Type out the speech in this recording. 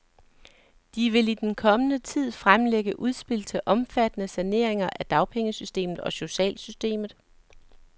De vil i den kommende tid fremlægge udspil til omfattende saneringer af dagpengesystemet og socialsystemet.